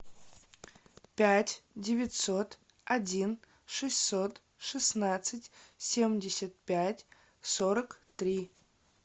пять девятьсот один шестьсот шестнадцать семьдесят пять сорок три